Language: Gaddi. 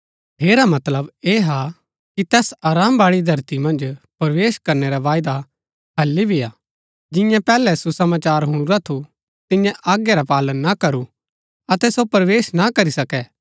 ठेरा मतलब ऐह हा कि तैस आराम बाळी धरती मन्ज प्रवेश करनै रा वायदा हालि भी हा जिन्यै पैहलै सुसमाचार हुणुरा थू तिन्यै आज्ञा रा पालन ना करू अतै सो प्रवेश ना करी सकै